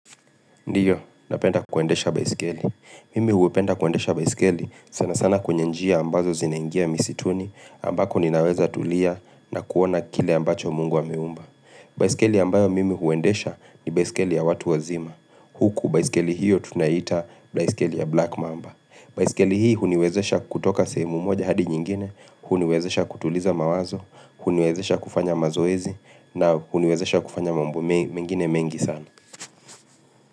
Ndiyo, napenda kuendesha baisikeli. Mimi hupenda kuendesha baisikeli sana sana kwenye njia ambazo zinaingia misituni ambako ninaweza tulia na kuona kile ambacho mungu ameumba. Baisikeli ambayo mimi huendesha ni baisikeli ya watu wazima. Huku baisikeli hiyo tunaiita baisikeli ya black mamba. Baisikeli hii huniwezesha kutoka sehemu moja hadi nyingine, huniwezesha kutuliza mawazo, huniwezesha kufanya mazoezi na huniwezesha kufanya mambo mengine mengi sana.